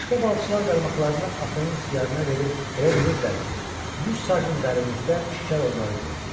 Başqa balıqçılar qaramaqlarına axının ixtiyarına verib elə bilirdilər ki, yüz sajın dərinlikdə şikar onları gözləyir.